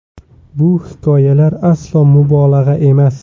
Bu hikoyalar aslo mubolag‘a emas.